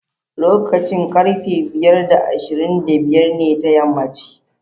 Lokacin karfe biyar da ashirin da biyar ne ta yammaci